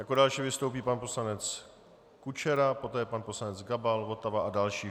Jako další vystoupí pan poslanec Kučera, poté pan poslanec Gabal, Votava a další.